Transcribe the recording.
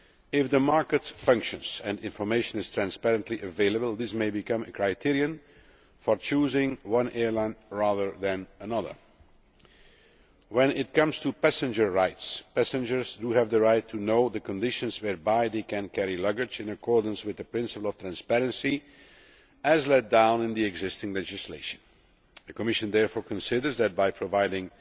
If the market functions and information is transparently available, this may become a criterion for choosing one airline rather than another. When it comes to passenger rights, passengers have the right to know the conditions whereby they can carry luggage in accordance with the principle of transparency, as laid down in the existing legislation. The Commission therefore considers that by providing